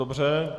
Dobře.